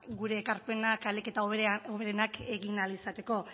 gure ekarpenak ahalik eta hoberenak egin ahal izateko